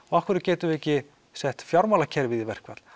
af hverju getum við ekki sett fjármálakerfið í verkfall